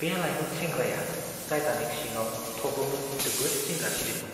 बे लायमोन सेंग्राया टाइटानिक सिङाव थब्ल'नो जोबोद जिंगा सिदोंमोन।